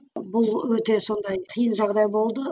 бұл өте сондай қиын жағдай болды